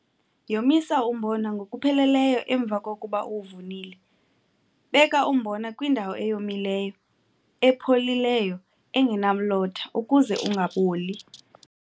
Yomisa umbona ngokupheleleyo emva kokuba uwuvunile. Beka umbona kwindawo eyomileyo epholileyo engenamlotha ukuze ungaboli.